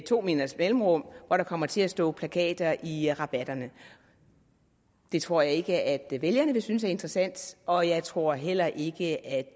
to meters mellemrum hvor der kommer til at stå plakater i rabatterne det tror jeg ikke at vælgerne ville synes er interessant og jeg tror heller ikke at